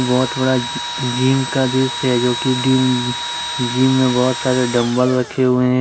यह बहुत बडा जिम का दृश्य है जो की टीम जिम में बहुत सारे डंबल रखे हुए हैं।